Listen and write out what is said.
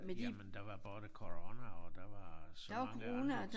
Jamen der var både corona og der var så mange andre